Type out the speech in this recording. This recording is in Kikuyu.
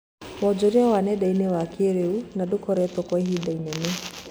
Wonjoria wa nenda-inĩ wa kĩrĩu na ndũkoretwo kwa ihinda inene